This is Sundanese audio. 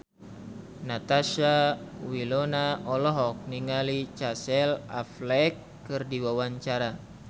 Natasha Wilona olohok ningali Casey Affleck keur diwawancara